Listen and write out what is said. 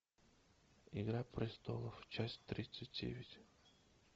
игра престолов часть тридцать девять